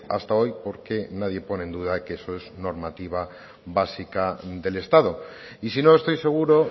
hasta hoy porque nadie pone en duda que eso es normativa básica del estado y si no estoy seguro